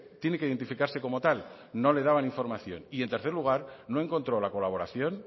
tiene que identificarse como tal no le daban información y en tercer lugar no encontró la colaboración